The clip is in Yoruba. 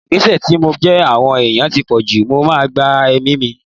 Gbèsè tí mo jẹ àwọn ẹ̀yàn ti pọ̀jù, mo máa gba ẹ̀mí mi.